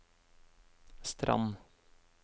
Strand